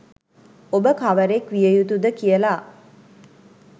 ඔබ කවරෙක් විය යුතු ද කියලා.